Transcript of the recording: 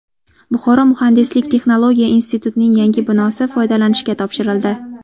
Buxoro muhandislik-texnologiya institutining yangi binosi foydalanishga topshirildi.